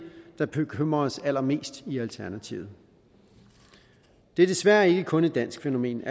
der bekymrer os allermest i alternativet det er desværre ikke kun et dansk fænomen